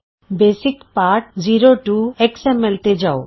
basic ਪਾਠ 02ਐਕਸ M L basic lesson 02ਐਕਸਐਮਐਲ ਤੇ ਜਾਉ